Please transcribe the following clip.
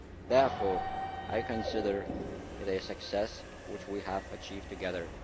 Therefore, I consider it a success which we have achieved together.